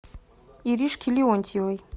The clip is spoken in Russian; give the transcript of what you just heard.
иришке леонтьевой